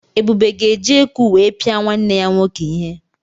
Ebube ga-eji eku wee pia nwanne ya nwoke ihe.